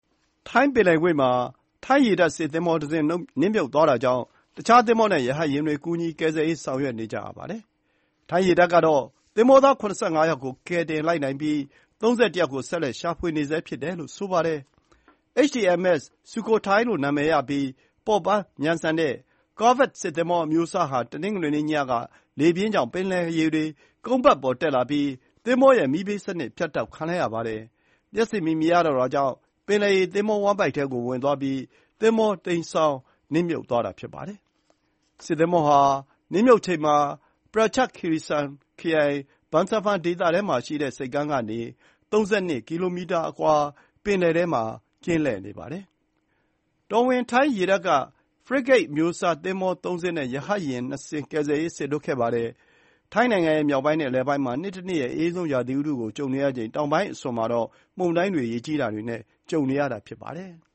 ထိုင်းပင်လယ်ကွေ့မှာ ထိုင်းရေတပ်စစ်သင်္ဘောတစင်း နစ်မြုပ်သွားတာကြောင့် တခြားသင်္ဘောနဲ့ ရဟတ်ယာဉ်တွေ ကူညီကယ်ဆယ်ရေးလုပ်ဆောင်နေကြပါတယ်။ အခုချိန်ထိ ထိုင်းရေတပ်က သင်္ဘောသား ၇၅ ယောက်ကို ကယ်တင်လိုက်နိုင်ပြီး ၃၁ ယောက်ကို ဆက်လက်ရှာဖွေနေဆဲဖြစ်တယ်လို့ ဆိုပါတယ်။ HTMS Sukhothai လို့ နာမည်ရပြီး ပေါ့ပါးမြန်ဆန်တဲ့ Corvette စစ်သင်္ဘောအမျိုးအစားဟာ တနင်္ဂနွေနေ့ညက လေပြင်းကြောင့် ပင်လယ်ရေတွေ ကုန်းပတ်ပေါ်တက်လာပြီး သင်္ဘောရဲ့ မီးပေးစနစ်ပြတ်တောက်သွားခဲ့ရပါတယ်။ လျှပ်စစ်မီးမရတော့တဲ့အတွက် ပင်လယ်ရေတွေ သင်္ဘောဝမ်းဗိုက်ထဲပိုဝင်သွားပြီး သင်္ဘောတိမ်းစောင်း၊ နစ်မြုပ်သွားတာဖြစ်ပါတယ်။ စစ်သင်္ဘောဟာနစ်မြုပ်ချိန်မှာ Prachuap Khiri Khan ခရိုင် Bangsaphan ဒေသထဲမှာရှိတဲ့ ဆိပ်ကမ်းကနေ ၃၂ ကီလိုမီတာအကွာ ပင်လယ်ထဲ ကင်းလှည့်နေတာဖြစ်ပါတယ်။ ကယ်ဆယ်ရေးလုပ်ငန်းတွေ လုပ်ဆောင်ဖို့ တော်ဝင်ထိုင်းရေတပ်က ရှာဖွေ ကယ်ဆယ်ရေးလုပ်ဖို့ Frigate သင်္ဘော ၃ စင်းနဲ့ ရဟတ်ယာဉ် ၂ စင်း စလွှတ်ခဲ့ပါတယ်။ ထိုင်းနိုင်ငံရဲ့ မြောက်ပိုင်းနဲ့ အလယ်ပိုင်းမှာ အအေးဆုံး ရာသီဥတုကိုကြုံနေရချိန် တောင်ပိုင်းအစွန်မှာတော့ မုန်တိုင်းတွေ ရေကြီးမှုတွေနဲ့ ကြုံနေရတာဖြစ်ပါတယ်။